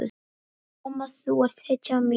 Mamma þú ert hetjan mín.